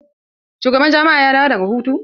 Shugaban jami'a ya dawo daga hutu?